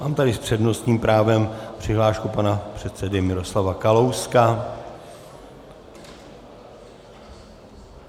Mám tady s přednostním právem přihlášku pana předsedy Miroslava Kalouska.